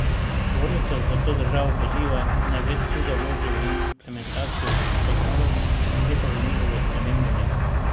Zbornica zato državo poziva, naj več truda vloži v implementacijo zakonov, ne pa v njihovo spreminjanje.